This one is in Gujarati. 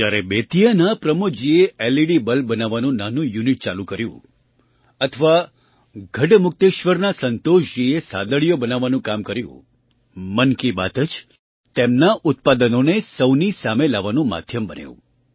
જ્યારે બેતિયાના પ્રમોદજીએ LEDબલ્બ બનાવવાનું નાનું યૂનિટ ચાલુ કર્યું અથવા ગઢમુક્તેશ્વરના સંતોષજીએ સાદડીઓ matsબનાવવાનું કામ કર્યું મન કી બાત જ તેમનાં ઉત્પાદનોને સહુની સામે લાવવાનું માધ્યમ બન્યું